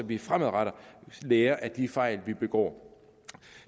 vi fremadrettet lærer af de fejl vi begår